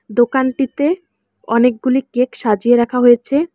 দোকানটিতে অনেকগুলি কেক সাজিয়ে রাখা হয়েছে।